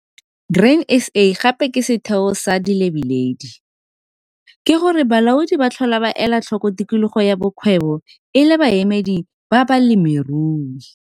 Grain SA gape ke setheo sa dilebeledi. Ke go re balaodi ba tlhola ba ela tlhoko tikologo ya bokgwebo e le baemedi ba balemirui.